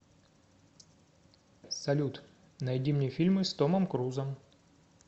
салют найди мне фильмы с томом крузом